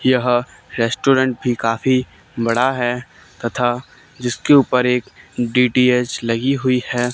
यह रेस्टोरेंट भी काफी बड़ा है तथा जिसके ऊपर एक डी_टी_एच लगी हुई है।